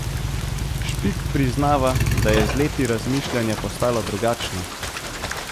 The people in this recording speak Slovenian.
Špik priznava, da je z leti razmišljanje postalo drugačno.